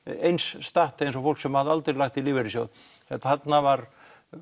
eins statt og fólk sem hafði aldrei lagt í lífeyrissjóð þarna var